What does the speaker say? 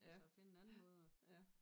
At så finde en anden måde at